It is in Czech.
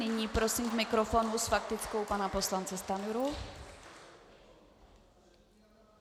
Nyní prosím k mikrofonu s faktickou pana poslance Stanjuru.